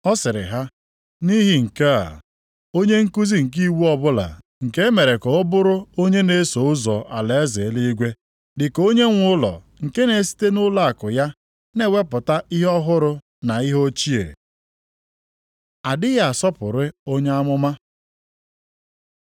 Ọ sịrị ha, “Nʼihi nke a, onye nkuzi nke iwu ọbụla nke e mere ka ọ bụrụ onye na-eso ụzọ alaeze eluigwe, dị ka onyenwe ụlọ nke na-esite nʼụlọakụ ya na-ewepụta ihe ọhụrụ na ihe ochie.” A dịghị asọpụrụ onye amụma